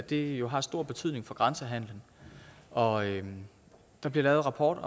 det jo har stor betydning for grænsehandelen og der bliver lavet rapport